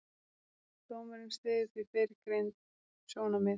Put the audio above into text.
Dómurinn styður því fyrrgreind sjónarmið.